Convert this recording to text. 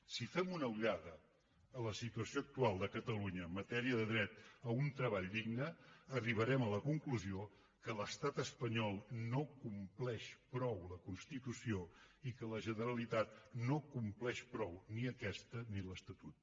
si fem una ullada a la situació actual de catalunya en matèria de dret a un treball digne arribarem a la conclusió que l’estat espanyol no compleix prou la constitució i que la generalitat no compleix prou ni aquesta ni l’estatut